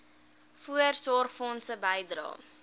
voorsorgfonds bydrae